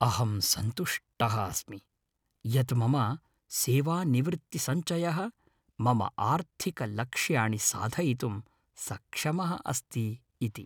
अहं सन्तुष्टः अस्मि यत् मम सेवानिवृत्तिसञ्चयः मम आर्थिकलक्ष्याणि साधयितुं सक्षमः अस्ति इति।